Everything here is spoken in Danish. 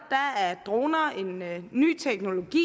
droner en ny teknologi